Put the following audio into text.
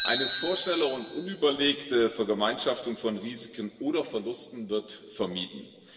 Eine vorschnelle und unüberlegte Vergemeinschaftung von Risiken oder Verlusten wird vermieden.